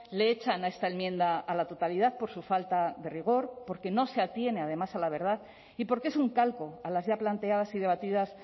le echan a esta enmienda a la totalidad por su falta de rigor porque no se atiene además a la verdad y porque es un calco a las ya planteadas y debatidas